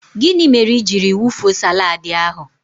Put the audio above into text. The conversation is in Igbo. Gịnị mere ijiri wee wufuo salaadi ahụ?